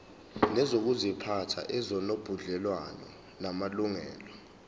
nezokuziphatha ezinobudlelwano namalungelo